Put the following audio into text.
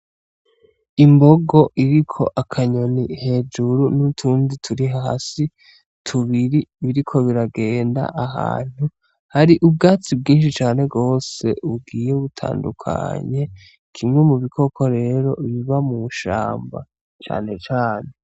Imbogo iriko akanyoni hejuru n'utundi turi hasi tubiri biriko biragenda ahantu hari ubwatsi bwishi cane gose bugiye butandukanye kimwe mu bikoko rero biba mwishamba cane cane.